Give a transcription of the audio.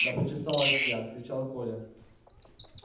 да почесалась я кричал коля